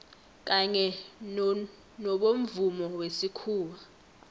kanye nobomvumo wesikhuwa